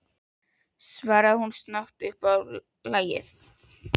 svaraði hún snögg upp á lagið.